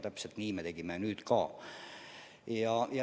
Täpselt nii me tegime nüüd ka.